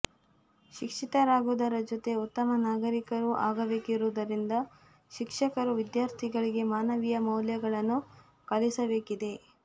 ಶಿಕ್ಷಿತರಾಗುವುದರ ಜೊತೆ ಉತ್ತಮ ನಾಗರಿಕರೂ ಆಗಬೇಕಿರುವುದರಿಂದ ಶಿಕ್ಷಕರು ವಿದ್ಯಾರ್ಥಿಗಳಿಗೆ ಮಾನವೀಯ ಮೌಲ್ಯಗಳನ್ನು ಕಲಿಸಬೇಕಿದೆ